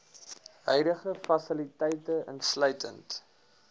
huidige fasiliteite insluitend